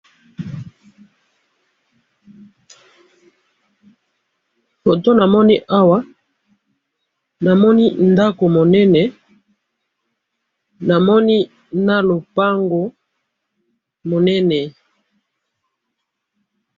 Photo namoni awa ,namoni ndako monene namoni na lopango monene